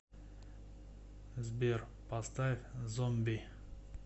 сбер поставь зомби